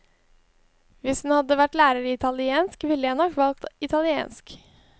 Hvis hun hadde vært lærer i italiensk, ville jeg nok valgt italiensk.